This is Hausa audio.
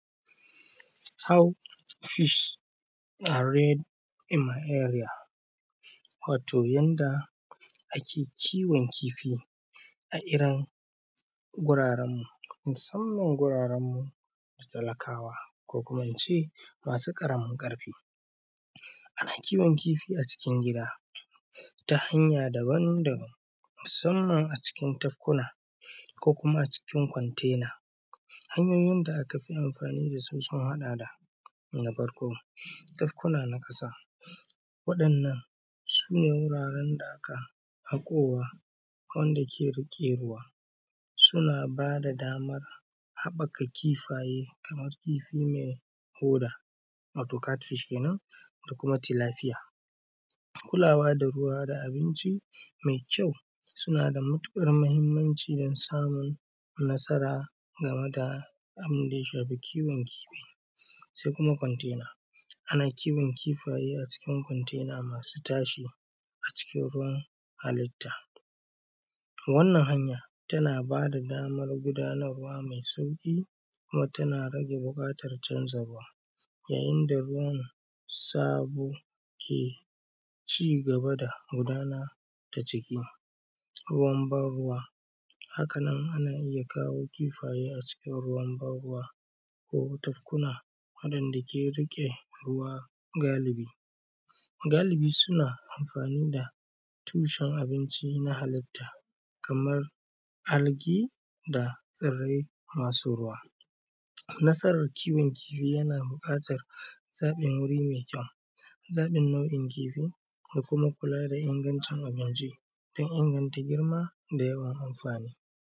How fish are reared in my area, wato yanda ake kiwon kifi a irin gurarenmu, musamman wuraren talakawa ko kuma in ce masu ƙaramin ƙarfa ana kiwon kifi a cikin gida ta hanya daban-daban musamman a cikin tekuna ko kuma a cikin container. Hanyoyin da aka bi amfani da su sun haɗa da na farko tankuna na ƙasa waɗannan su ne wuraren da aka haƙowa wanda ke riƙe ruwa suna ba da damar haɓaka kifaye, kamar kifi mai hoda, wato cat fish kenan da kuma tilafiya kula wa da ruwa da abinci mai kyau suna da matuƙar mahimmanci dan samun nasara game da abun da ya shafi kiwon kifi. Sai kuma container ana kiwon kifaye a cikin container masu tashi a cikin ruwa halitta to wannan hanyan tana bada damar gudanarwa mai sauƙi kuma tana rage buƙatar canzawa ruwa yayin da ruwan sabo ke cigaba da gudana ta ciki ruwan ba ruwa hakanan ana iya kawo kifaye a cikin ruwan ban ruwa ko tafkuna waɗanda ke riƙe ruwa galibi, galibi suna amfani da tushen abinci na halitta kaman algae da tsirrai masu ruwa. Nasarar kiwon kifi yana buƙatar samun wuri mai kyau zaɓin nau’in kifi da kuma kula da ingancin abinci dan inganta girma da yawan amfani.